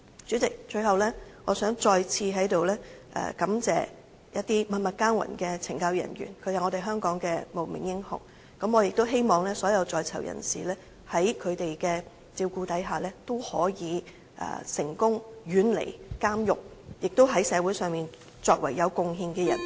主席，最後，我想在此再次感謝一些默默耕耘的懲教人員，他們是香港的無名英雄，我亦希望所有在囚人士在他們的照顧下，可以成功遠離監獄，在社會上作為有貢獻的人......